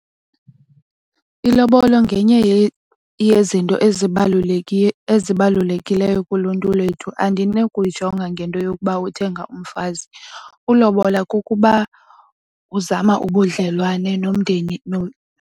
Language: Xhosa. Ilobolo ngenye yezinto ezibalulekileyo kuluntu lwethu. Andinokuyijonga ngento yokuba uthenga umfazi. Ulobola kukuba uzama ubudlelwane nomndeni .